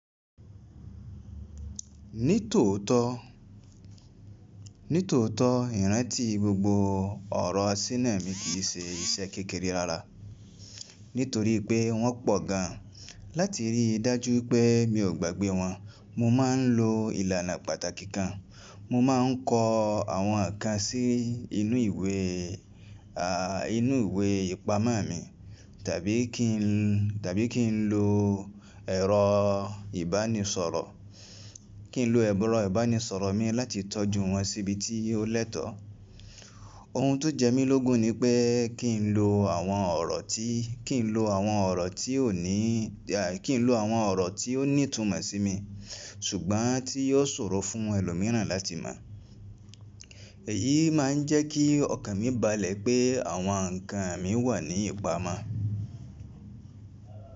Nítòótó, nítòótó ìrántì gbogbo ọ̀rọ̀ Sinẹmi kì í ṣe iṣẹ́ kékeré rárá nítorí pé wọ́n pọ̀ gan. Láti rí dájú pé mi ò gbàgbé wọn, mo máa ń lo ìlànà pàtàkì kan. Mo máa ń kọ àwọn nǹkan sí inú ìwé, inú ìwé ìpamọ́ mi tàbí kí n, tàbí kí n lo ẹ̀rọ ìbánisọ̀rọ̀, kí n lo ẹ̀rọ ìbánisọ̀rọ̀ mi láti tọ́jú wọn síbi tí ó lẹ́tọ̀ọ́. Ohun tó jẹ́ mí lógun ni pé kí n lo àwọn ọ̀rọ̀ tí, kí n lo àwọn ọ̀rọ̀ tí ò ní kí n lo àwọn ọ̀rọ̀ tí ó ní ìtumọ̀ sí mi ṣùgbọ́n tí yóò ṣòro fún ẹlòmíràn láti mọ̀. Èyí máa ń jẹ́ kí ọkàn mi balẹ̀ pé àwọn nǹkan mi wà ní ìpamọ́.